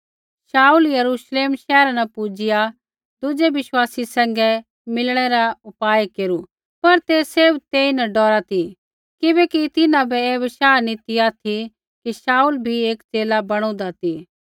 शाऊल यरूश्लेम शैहरा न पुजिआ दुजै बिश्वासी सैंघै मिलणै रा उपाय केरू पर ते सैभ तेइन डौरा ती किबैकि तिन्हां बै ऐ बशाह नी ती ऑथि कि शाऊल भी एक च़ेला बणुदा ती